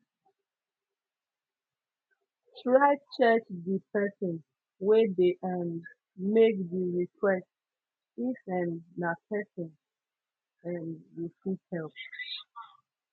try check di persin wey de um make di request if um na pesin um you fit hep